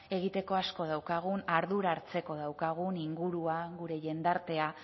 egiteko asko daukagun ardura hartzeko daukagun ingurua gure jendartea